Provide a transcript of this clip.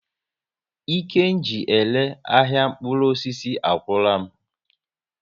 Ike ji ere ahịa mkpụrụ osisi agwụla m